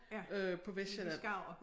Øh på Vestsjælland